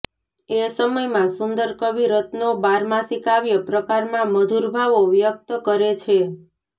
એ સમયમાં સુંદર કવિ રત્નો બારમાસી કાવ્ય પ્રકારમાં મધુર ભાવો વ્યક્ત કરે છે